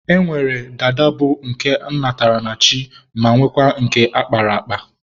E nwere dada bụ ọ natara chi ma nwekwaa nke a kpara akpa.